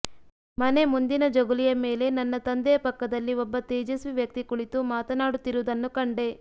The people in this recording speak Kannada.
ಮನೆ ಮುಂದಿನ ಜಗುಲಿಯ ಮೇಲೆ ನನ್ನ ತಂದೆಯ ಪಕ್ಕದಲ್ಲಿ ಒಬ್ಬ ತೇಜಸ್ವಿ ವ್ಯಕ್ತಿ ಕುಳಿತು ಮಾತನಾಡುತ್ತಿರುವುದನ್ನು ಕಂಡೆ